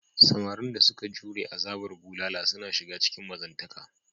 Samarin da suka jure azabar bulala suna shiga cikin mazantaka.